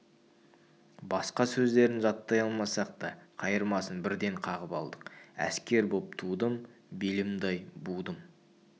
басқа сөздерін жаттай алмасақ та қайырмасын бірден қағып алдық әскер боп тудым белімді-ай будым